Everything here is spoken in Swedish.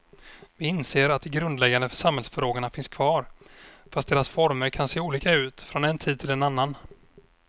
Vi inser att de grundläggande samhällsfrågorna finns kvar, fast deras former kan se olika ut från en tid till en annan.